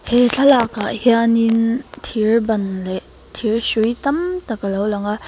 he thlalak ah hian in thir ban leh thir hrui tam tak alo lang a.